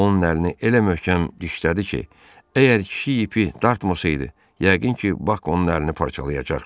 Onun əlini elə möhkəm dişlədi ki, əgər kişi ipi dartmasaydı, yəqin ki, Bak onun əlini parçalayacaqdı.